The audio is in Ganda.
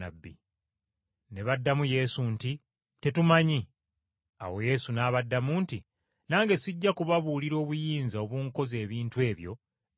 Ne baddamu Yesu nti, “Tetumanyi.” Awo Yesu n’abaddamu nti, “Nange sijja kubabuulira obuyinza obunkoza ebintu ebyo gye mbuggya.”